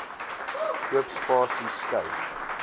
oop spasies skei